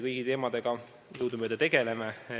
Kõigi nende teemadega me jõudumööda tegeleme.